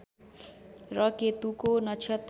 र केतुको नक्षत्र